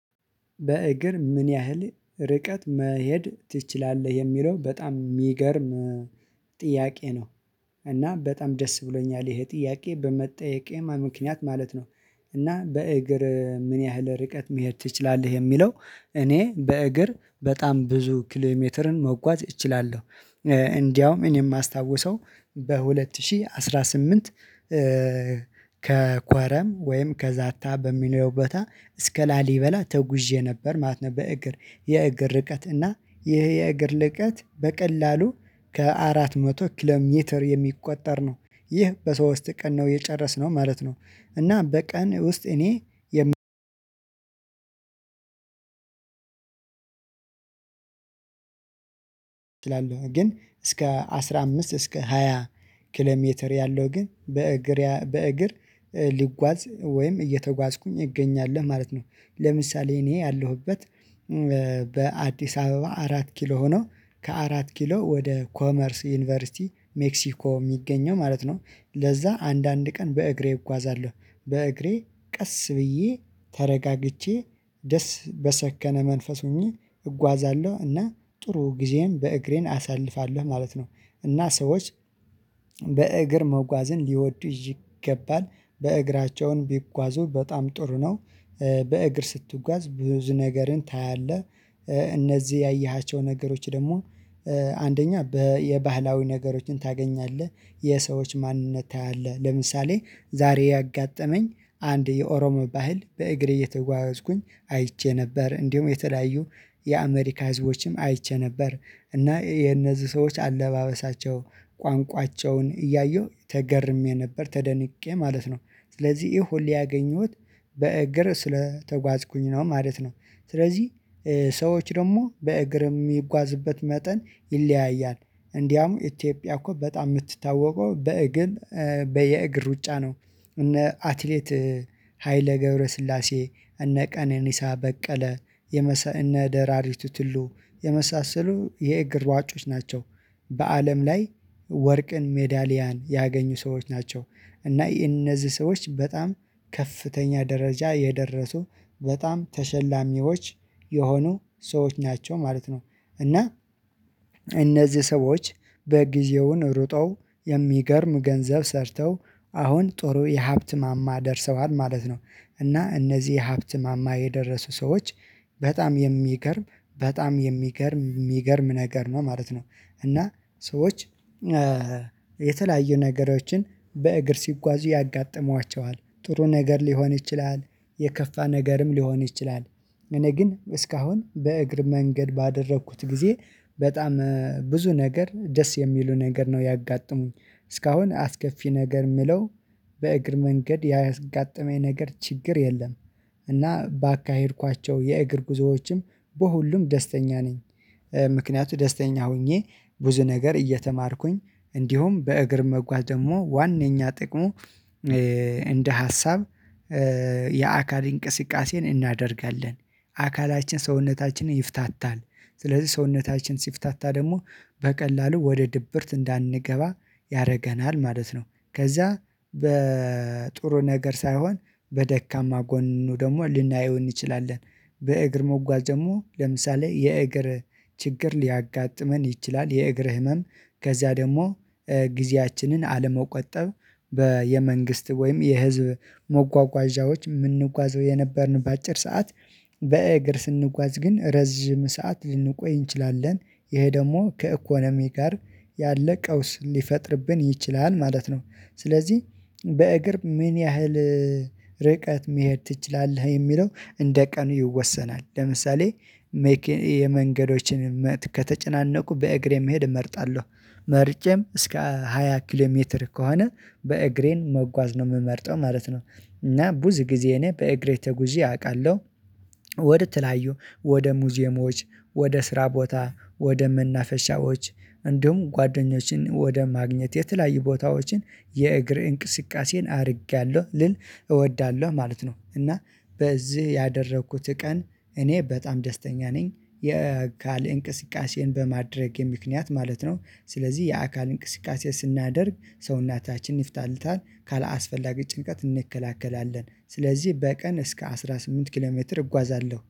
በእግር ምን ያህል ርቀት መሄድ ትችላለህ? የሚለው በጣም የሚገርም ጥያቄ ነው። እና በጣም ደስ ብሎኛል ይሄ ጥያቄ በመጠየቄ ምክንያት ማለት ነው። እና በእግር ምን ያህል ርቀት መሄድ ትችላለህ የሚለው እኔ በእግር በጣም ብዙ ኪሎሜትርን መጓዝ እችላለሁ። እንደውም እኔ የማስታውሰው በሁለትሺ አስራ ስምንት ከ ከኳረም ወይም ከዛታ በሚለው ቦታ እስከ ላሊበላ ተጉዤ ነበር ማለት ነው። በእግር የእግር ርቀት እና ይሄ የእግር ርቀት በቀላሉ ከአራት መቶ ኪሎም ሜትር የሚቆጠር ነው። ይህ በሶስት ቀን ነው የጨረስነው ማለት ነው። እና በቀን ውስጥ እኔ የም እላለሁ ግን እስከ አስራ አምስት እስከ ሃያ ኪሎ ሜትር ያለው ግን በእግርያ በእግር ሊጓዝ ወይም እየተጓዝኩኝ እገኛለሁ ማለት ነው። ለምሳሌ እኔ ያለሁበት በአዲስ አበባ አራት ኪሎ ሆኖ ከአራት ኪሎ ወደ ኮመርስ ዩኒቨርሲቲ ሜክሲኮ የሚገኘው ማለት ነው። ለዛ አንዳንድ ቀን በእግሬ እጓዛለሁ። በእግሬ ቀስ ብዬ ተረጋግቼ ደስ በሰከነ መንፈስ ሆኜ እጓዛለሁ እና ጥሩ ጊዜም በእግሬን አሳልፋለሁ ማለት ነው። እና ሰዎች በእግር መጓዝን ሊወዱ ይገባል በእግራቸውን ቢጓዙ በጣም ጥሩ ነው። በእግር ስትጓዝ ብዙ ነገርን ታያለህ። እነዚህ ያየሃቸው ነገሮች ደግሞ አንደኛ በ የባህላዊ ነገሮችን ታገኛለህ። የሰዎች ማንነት ታያለህ ለምሳሌ ዛሬ ያጋጠመኝ አንድ የኦሮሞ ባህል በእግሬ እየተጓዝኩኝ አይቼ ነበር እንዲሁም የተለያዩ የአሜሪካ ህዝቦችም አይቼ ነበር። እና የነዚህ ሰዎች አለባበሳቸው ቋንቋቸውን እያየሁ ተገርሜ ነበር ተደንቄ ማለት ነው። ስለዚህ ይሄ ሁሉ ያገኘሁት በእግር ስለተጓዝኩኝ ነው ማለት ነው። ስለዚህ ሰዎች ደግሞ በእግር የሚጓዝበት መጠን ይለያያል እንዲያውም ኢትዮጵያ እኮ በጣም የምትታወቀው በእግር በየእግር ሩጫ ነው። እነ አትሌት ሀይለ ገብረስላሴ እነ ቀነኒሳ በቀለ የመሰ እነ ደራሪቱ ቱሉ የመሳሰሉ የእግር ሯጮች ናቸው። በአለም ላይ ወርቅን ሜዳሊያን ያገኙ ሰዎች ናቸው። እና እነዚህ ሰዎች በጣም ከፍተኛ ደረጃ የደረሱ በጣም ተሸላሚዎች የሆኑ ሰዎች ናቸው ማለት ነው። እና እነዚህ ሰዎች በጊዜውን ሩጠው የሚገርም ገንዘብ ሰርተው አሁን ጥሩ የሀብት ማማ ደርሰዋል ማለት ነው። እና እነዚህ የሀብት ማማ የደረሱ ሰዎች በጣም የሚገርም በጣም የሚገርም የሚገርም ነገር ነው ማለት ነው። እና ሰዎች የተለያዩ ነገሮችን በእግር ሲጓዙ ያጋጥሟቸዋል ጥሩ ነገር ሊሆን ይችላል። የከፋ ነገርም ሊሆን ይችላል። እኔ ግን እስካሁን በእግር መንገድ ባደረኩት ጊዜ በጣም ብዙ ነገር ደስ የሚሉ ነገር ነው ያጋጠሙኝ። እስካሁን አስከፊ ነገር የምለው በእግር መንገድ ያጋጠመኝ ነገር ችግር የለም። እና ባካሄድኳቸው የእግር ጉዞዎችም በሁሉም ደስተኛ ነኝ። ምክንያቱ ደስተኛ ሆኜ ብዙ ነገር እየተማርኩኝ እንዲሁም በእግር መጓዝ ደግሞ ዋነኛ ጥቅሙ እንደ ሀሳብ የአካል እንቅስቃሴን እናደርጋለን። አካላችን ሰውነታችን ይፍታታል ስለዚህ ሰውነታችን ሲፍታታ ደግሞ በቀላሉ ወደ ድብርት እንዳንገባ ያደርገናል ማለት ነው። ከዛ በጥሩ ነገር ሳይሆን በደካማ ጎኑ ደግሞ ልናየው እንችላለን። በእግር መጓዝ ደግሞ ለምሳሌ የእግር ችግር ሊያጋጥመን ይችላል የእግር ህመም ከዚያ ደግሞ ጊዜያችንን አለመቆጠብ በየመንግስት ወይም የህዝብ መጓጓዣዎች የምንጓዘው የነበርንባት አጭር ሰዓት በእግር ስንጓዝ ግን ረዥም ሰዓት ልንቆይ እንችላለን። ይሄ ደግሞ ከኢኮኖሚ ጋር ያለ ቀውስ ሊፈጥርብን ይችላል ማለት ነው። ስለዚህ በእግር ምን ያህል ርቀት መሄድ ትችላለህ? የሚለው እንደ ቀኑ ይወሰናል ለምሳሌ። የመንገዶችን ከተጨናነቁ በእግሬ መሄድ እመርጣለሁ። መርጬም እስከ ሃያ ኪሎ ሜትር ከሆነ በእግሬን መጓዝ ነው የምመርጠው ማለት ነው። እና ብዙ ጊዜ እኔ በእግሬ ተጉዤ አውቃለሁ። ወደ ተለያዩ ወደ ሙዚየሞች ወደ ስራ ቦታ ወደ መናፈሻዎች እንዲሁም ጓደኞቼን ወደ ማግኘት የተለያዩ ቦታዎችን የእግር እንቅስቃሴን አድርጌያለሁ ልል እወዳለሁ ማለት ነው። እና በዚህ ያደረኩት ቀን እኔ በጣም ደስተኛ ነኝ የአካል እንቅስቃሴን በማድረጌ ምክንያት ማለት ነው። ስለዚህ የአካል እንቅስቃሴ ስናደርግ ሰውናታችን ይፍታልታል ካላስፈላጊ ጭንቀት እንከላከላለን ስለዚህ በቀን እስከ አስራ ስምንት ኪሎሜትር እጓዛለሁ